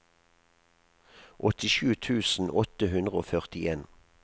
åttisju tusen åtte hundre og førtien